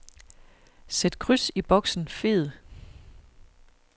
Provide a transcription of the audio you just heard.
Sæt kryds i boksen fed.